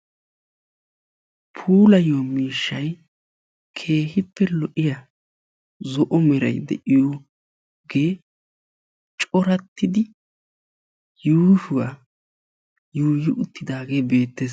Puulayiyaa miishshay keehippe lo"iyaa zo'o meray de'iyoogee corattidi yuushshuwaa yuuyi uttidaagee beettees.